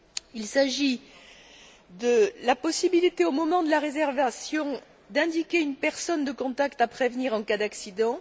Il s'agit de la possibilité, au moment de la réservation, d'indiquer une personne de contact à prévenir en cas d'accident